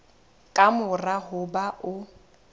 ka mora ho ba o